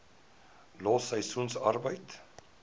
los seisoensarbeid